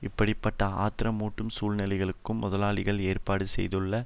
இப்படி பட்ட ஆத்திரமூட்டும் சூழ்நிலைகளும் முதலாளிகள் ஏற்பாடு செய்துள்ள